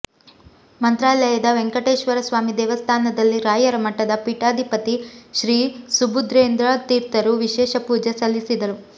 ಮಂತ್ರಾಲದಯ ವೆಂಕಟೇಶ್ವರ ಸ್ವಾಮಿ ದೇವಸ್ಥಾನದಲ್ಲಿ ರಾಯರ ಮಠದ ಪೀಠಾಧಿಪತಿ ಶ್ರೀ ಸುಬುಧೇಂದ್ರ ತೀರ್ಥರು ವಿಶೇಷ ಪೂಜೆ ಸಲ್ಲಿಸಿದರು